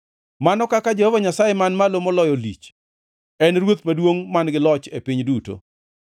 Mano kaka Jehova Nyasaye Man Malo Moloyo lich, en Ruoth Maduongʼ man-gi loch e piny duto!